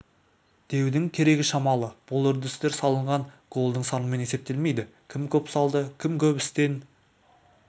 деудің керегі шамалы бұл үрдістер салынған голдың санымен есептелмейді кім көп салды кім көп істен